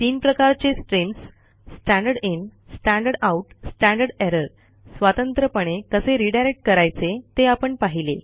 तीन प्रकारचे streams standard in standard out standard error स्वतंत्रपणे कसे रीडायरेक्ट करायचे ते आपण पाहिले